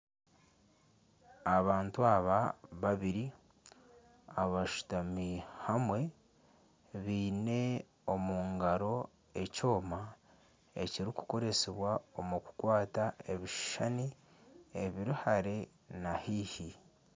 Abantu aba bibiri abashutami hamwe baine omungaro ekyooma ekirikukoresibwa omu kukwata ebishushane ebiri hare na haihi.